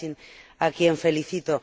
Kacin, a quien felicito.